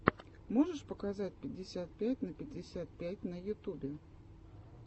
можешь показать пятьдесят пять на пятьдесят пять на ютубе